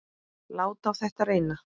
Láta á þetta reyna.